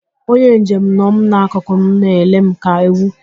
Onye njem nọ m n'akụkụ m na-ele m ka ewu.